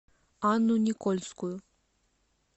анну никольскую